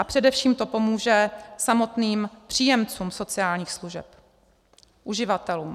A především to pomůže samotným příjemcům sociálních služeb, uživatelům.